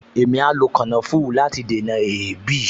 Èmi a lo kànáfùrù láti dènà èébì